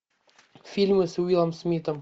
фильмы с уиллом смитом